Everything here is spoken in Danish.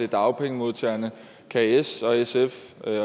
dagpengemodtagerne kan s og sf